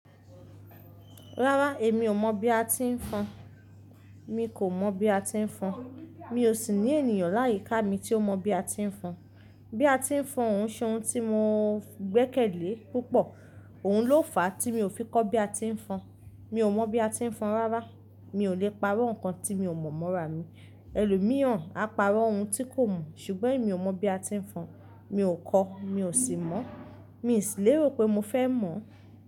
Rárá, èmi ò mọ̀ bí a ti ń fọn. Mi kò mọ̀ bí a ti ń fọn. Mi ò sì ní ènìyàn láyíká mi tí ó mọ̀ bí a ti ń fọn. Bí a ti ń fọn, ò n ṣe oun tí mo gbẹ́kẹ̀lé púpọ̀. Òun ló fàá tí mi ò fi kọ́ bí a ti ń fọn. Mi ò mọ̀ bí a ti ń fọn rárá. Mi ò lè parọ́ nǹkan tí mi ò mọ̀ mọ́ra mi. Elòmíràn á parọ́ ohun tí kò mọ̀, ṣùgbọ́n èmi ò mọ̀ bí a ti ń fọn. Mi ò kọ́, mi ò sì mọ̀. Mi sì lérò pé mo fẹ́ mọ̀.